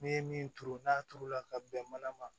N'i ye min turu n'a turu la ka bɛn mana ma